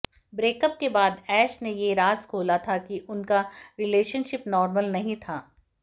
breakup के बाद ऐश ने ये राज़ खोला था कि उनका रिलेशनशिप नॉर्मल नहीं था